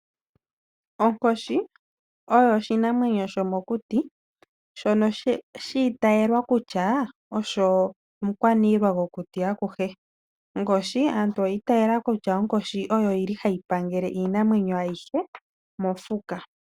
Onkoshi oyo oshinamwenyo shomokuti , shono shiitayelwa kutya osho omukwaniilwa gokuti akuhe. Aantu oyi itayela kutya onkoshi oyili hayi pangele iinamwenyo aihe mofuka.